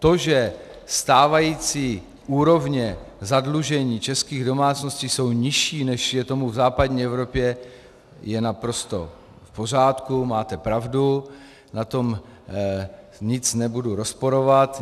To, že stávající úrovně zadlužení českých domácností jsou nižší, než je tomu v západní Evropě, je naprosto v pořádku, máte pravdu, na tom nic nebudu rozporovat.